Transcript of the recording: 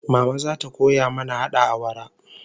Mama zata koya mana hada awara